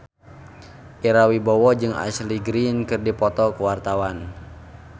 Ira Wibowo jeung Ashley Greene keur dipoto ku wartawan